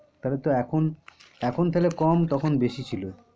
তাহলে তো এখন এখন তাহলে কম তখন বেশি ছিল।